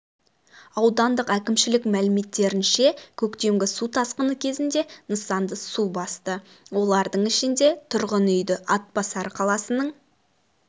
аудандық әкімшілік мәліметтерінше көктемгі су тасқыны кезінде нысанды су басты олардың ішінде тұрғын үйді атбасар қаласының